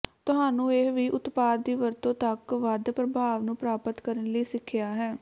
ਤੁਹਾਨੂੰ ਇਹ ਵੀ ਉਤਪਾਦ ਦੀ ਵਰਤੋ ਤੱਕ ਵੱਧ ਪ੍ਰਭਾਵ ਨੂੰ ਪ੍ਰਾਪਤ ਕਰਨ ਲਈ ਸਿੱਖਿਆ ਹੈ